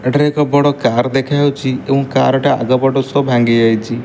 ଏଠାରେ ଏକ ବଡ କାର ଦେଖାହୋଉଚି ଏବଂ କାର ଟା ଆଗ ପଟୁ ସବୁ ଭାଙ୍ଗି ଯାଇଚି।